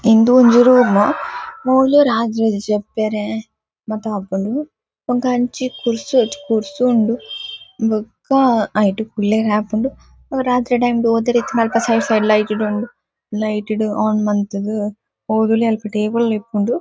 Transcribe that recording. ಇಂದು ಒಂಜಿ ರೂಮ್ ಮೂಲು ರಾ ರ್ ಜೆಪ್ಪೆರೆ ಮಾತ ಆಪುಂಡು ಇಂದು ಅಂಚಿ ಕುರ್ಸು ಕುರ್ಸು ಉಂಡು ಬೊಕ್ಕ ಐಟ್ ಕುಲ್ಲೆರೆ ಆಪುಂಡು ಅವ್ ರಾತ್ರೆಡ್ ಎಂಕ್ ಓದೆರೆ ಇತ್ತ್ಂಡ ಅಲ್ಪ ಸೈಡ್ ಸೈಡ್ ಲೈಟ್ ಲು ಉಂಡು ಲೈಟ್ ಡ್ ಆನ್ ಮಂತ್ ದ್ ಓದೊಲಿ ಅಲ್ಪ ಟೇಬಲ್ ಲ ಉಪ್ಪುಂಡು.